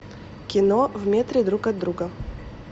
кино в метре друг от друга